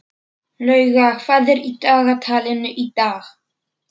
Lauga, hvað er í dagatalinu í dag?